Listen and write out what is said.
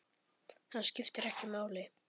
Skiptir ekki máli!